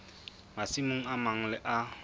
masimong a mang le a